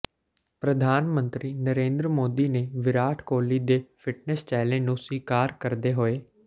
ਪ੍ਰਧਾਨ ਮੰਤਰੀ ਨਰੇਂਦਰ ਮੋਦੀ ਨੇ ਵਿਰਾਟ ਕੋਹਲੀ ਦੇ ਫਿਟਨਸ ਚੈਲੰਜ ਨੂੰ ਸਵੀਕਾਰ ਕਰਦੇ ਹੋਏ